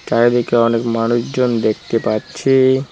চারদিকে অনেক মানুষজন দেখতে পাচ্ছি।